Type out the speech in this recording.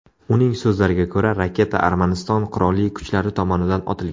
Uning so‘zlariga ko‘ra, raketa Armaniston qurolli kuchlari tomonidan otilgan.